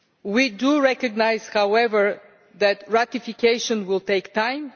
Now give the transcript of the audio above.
We do recognise, however, that ratification will take time.